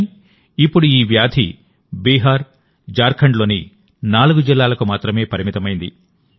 కానీ ఇప్పుడు ఈ వ్యాధి బీహార్ జార్ఖండ్లోని 4 జిల్లాలకు మాత్రమే పరిమితమైంది